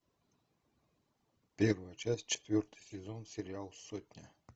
первая часть четвертый сезон сериал сотня